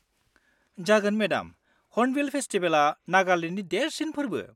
जागोन madam, Hornbill फेसटिबेला नागालेन्डनि देरसिन फोर्बो।